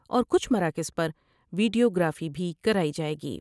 اور کچھ مراکز پر ویڈیوگرافی بھی کرائی جائے گی ۔